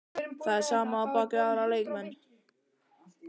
Það sama á við um aðra leikmenn?